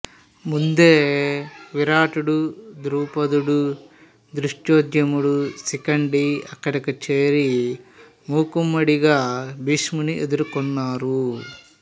ముందే విరాటుడు దృపదుడు ధృష్టద్యుమ్నుడు శిఖండి అక్కడకు చేరి ఒక్కుమ్మడిగా భీష్ముని ఎదుర్కొన్నారు